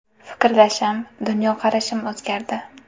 Fikrlashim, dunyoqarashim o‘zgardi.